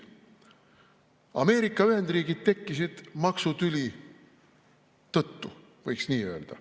Ameerika Ühendriigid tekkisid maksutüli tõttu, võiks nii öelda.